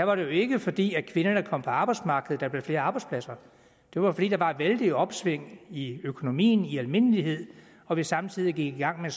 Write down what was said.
var det jo ikke fordi kvinderne kom på arbejdsmarkedet at der blev flere arbejdspladser det var fordi der var et vældigt opsving i økonomien i almindelighed og vi samtidig gik i gang med